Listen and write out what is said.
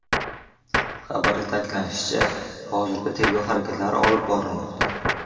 Xabarda ta’kidlanishicha, hozirda tergov harakatlari olib borilmoqda.